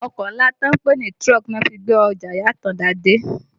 Ọkọ̀ ńlá tí wọ́n ń pè ní truck ni wọ́n fi gbé Ọjà ìyá Àtàndá dé